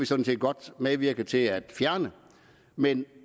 sådan set godt medvirke til at fjerne men